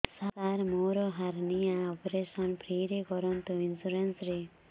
ସାର ମୋର hernia operation free ରେ କରନ୍ତୁ ଇନ୍ସୁରେନ୍ସ ରେ